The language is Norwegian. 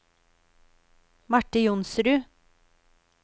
Marte Johnsrud